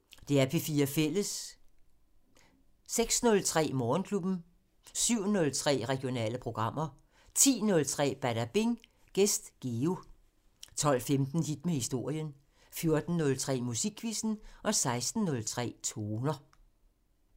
06:03: Morgenklubben 07:03: Regionale programmer 10:03: Badabing: Gæst Geo 12:15: Hit med historien 14:03: Musikquizzen 16:03: Toner